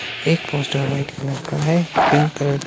एक poster white colour का है पिंक कलर --